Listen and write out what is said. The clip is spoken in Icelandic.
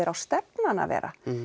á stefnan að vera